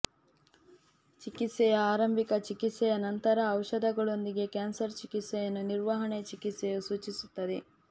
ಚಿಕಿತ್ಸೆಯ ಆರಂಭಿಕ ಚಿಕಿತ್ಸೆಯ ನಂತರ ಔಷಧಿಗಳೊಂದಿಗೆ ಕ್ಯಾನ್ಸರ್ ಚಿಕಿತ್ಸೆಯನ್ನು ನಿರ್ವಹಣೆ ಚಿಕಿತ್ಸೆಯು ಸೂಚಿಸುತ್ತದೆ